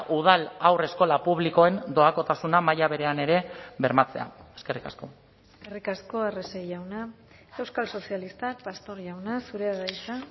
udal haurreskola publikoen doakotasuna maila berean ere bermatzea eskerrik asko eskerrik asko arrese jauna euskal sozialistak pastor jauna zurea da hitza